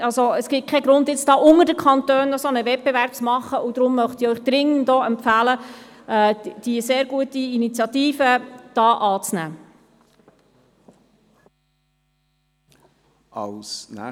Es gibt keinen Grund, unter den Kantonen einen solchen Wettbewerb zu machen, und deswegen möchte ich Ihnen dringend empfehlen, die sehr gute Initiative anzunehmen.